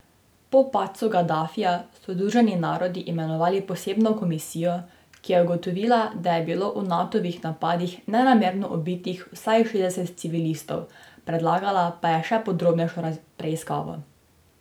Po padcu Gadafija so Združeni narodi imenovali posebno komisijo, ki je ugotovila, da je bilo v Natovih napadih nenamerno ubitih vsaj šestdeset civilistov, predlagala pa je še podrobnejšo preiskavo.